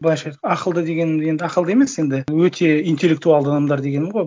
былайша ақылды дегенім енді ақылды емес енді өте интеллектуалды адамдар дегенім ғой